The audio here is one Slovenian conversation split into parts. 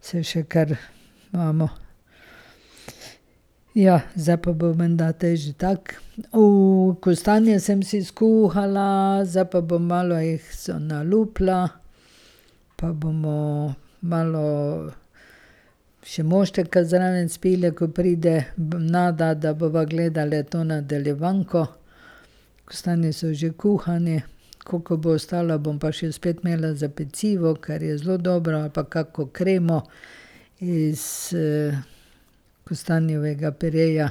se še kar imamo. Ja, zdaj pa bo menda te že tako. kostanje sem si skuhala, zdaj pa bom malo jih se nalupila, pa bomo malo še mošteka zraven spile, ko pride Nada, da bova gledali to nadaljevanko. Kostanji so že kuhani. Koliko bo ostalo, bom pa že spet imela za pecivo, ker je zelo dobro ali pa kako kremo iz kostanjevega pireja.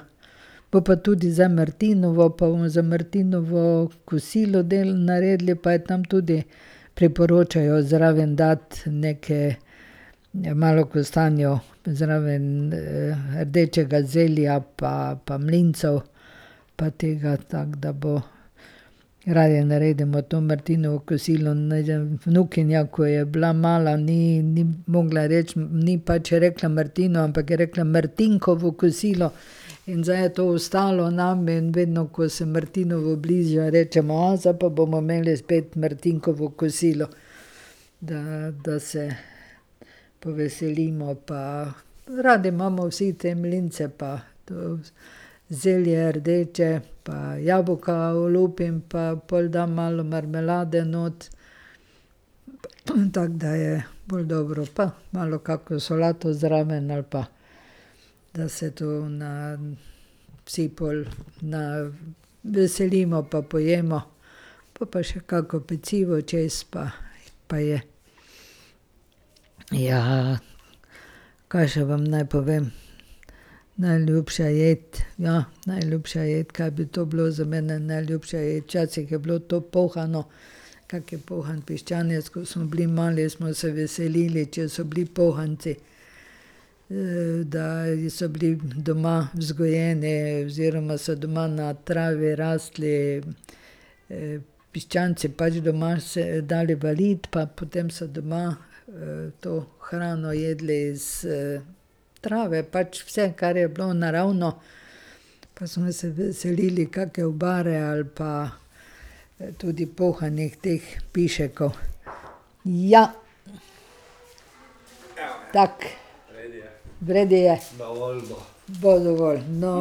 Bo pa tudi zdaj martinovo, pa bomo za martinovo kosilo naredili, pa je tam tudi priporočajo zraven dati neke malo kostanjev zraven rdečega zelja pa, pa mlincev pa tega, tako da bo. Radi naredimo to martinovo kosilo, ja vnukinja, ko je bila mala, ni ni mogla reči, ni pač rekla martinovo, ampak je rekla martinkovo kosilo. In zdaj je to ostalo nam in vedno, ko se martinovo bliža, rečemo: "A zdaj pa bomo imeli spet martinkovo kosilo." Da, da se poveselimo pa radi imamo vsi te mlince pa to zelje rdeče, pa jabolka olupim, pa pol dam malo marmelade not. Tako da je bolj dobro pa malo kako solato zraven, ali pa da se to na vsi pol na veselimo pa pojemo pol pa še kako pecivo čez, pa pa je. Ja. Kaj še naj vam povem? Najljubša jed, ja, najljubša jed, ka bi to bilo za mene, najljubša jed? Včasih je bilo to pohano, kak pohan piščanec, ko smo bili mali, smo se veselili, če so bili pohanci. Da so bili doma vzgojeni oziroma so doma na trave rasli piščanci, pač doma se dali v lid, pa potem se doma to hrano jedli s trave pač vse, kar je bilo naravno. Pa smo se veselili kake obare ali pa tudi pohanih teh piškov. Ja. Tako. V redu je. Bo dovolj, no.